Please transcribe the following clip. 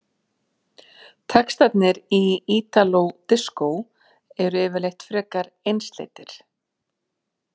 Textarnir í ítaló diskó eru yfirleitt frekar einsleitir.